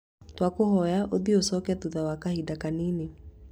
Twakũhoya ũthiĩ ũcoke thutha wa kahinda kanini